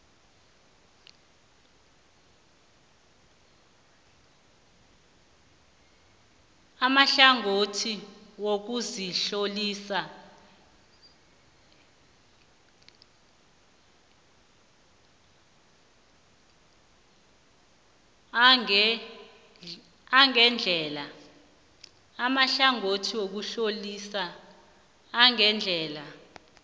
amahlangothi wokuzitlolisa angendlela